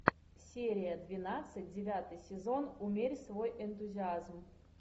серия двенадцать девятый сезон умерь свой энтузиазм